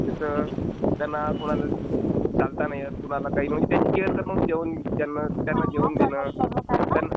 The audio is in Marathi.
जसं त्यांना कोणाला चालत नाही येत. कोणाला काही... म्हणजे त्यांची केअर करणे, त्यांना जेवण देणे.